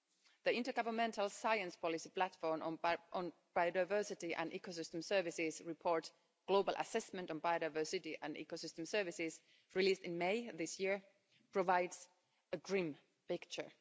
The Intergovernmental Science-Policy Platform on Biodiversity and Ecosystem Services Global Assessment Report on Biodiversity and Ecosystem Services' released in May this year provides a grim picture.